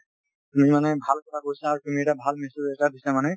তুমি মানে ভাল কথা কৈছে আৰু তুমি এটা ভাল message এটা দিছা মানে